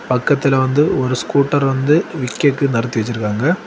பக்கத்துல வந்து ஒரு ஸ்கூட்டர் வந்து விக்கிக்கு நடத்தி வச்சிருக்காங்க.